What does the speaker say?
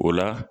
O la